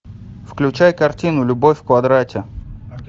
включай картину любовь в квадрате